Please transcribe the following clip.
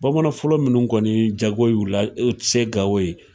Bamanan fɔlɔ munnu kɔni jago ula u te se gawo yen